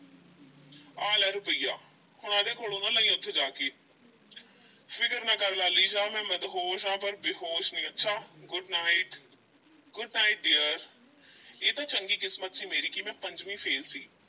ਅਹਿ ਲੈ ਰੁਪਇਆ ਹੁਣ ਇਹਦੇ ਕੋਲੋਂ ਨਾ ਲਈਂ ਉੱਥੇ ਜਾ ਕੇ ਫ਼ਿਕਰ ਨਾ ਕਰ ਲਾਲੀ ਸ਼ਾਹ ਮੈਂ ਮਦਹੋਸ਼ ਆਂ ਪਰ ਬੇਹੋਸ਼ ਨਹੀਂ, ਅੱਛਾ good night, good night dear ਇਹ ਤਾਂ ਚੰਗੀ ਕਿਸਮਤ ਸੀ ਮੇਰੀ ਕਿ ਮੈਂ ਪੰਜਵੀਂ fail ਸੀ